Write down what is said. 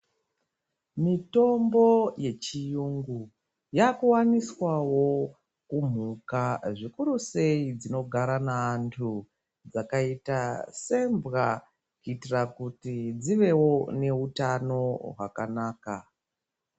Mutombo yechiyungu yakuwaniswawo kumhuka zvikuru sei dzinogara neanhu ,dzakaita sembwa kuitira kuti dzivewo neutano hwakanaka.